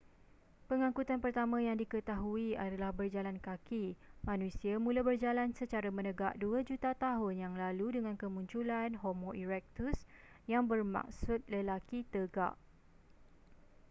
pengangkutan pertama yang diketahui adalah berjalan kaki manusia mula berjalan secara menegak dua juta tahun yang lalu dengan kemunculan homo erectus yang bermaksud lelaki tegak